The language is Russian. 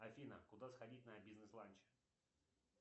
афина куда сходить на бизнес ланч